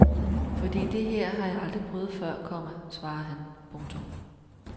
Fordi det her har jeg aldrig prøvet før, komma svarer han. punktum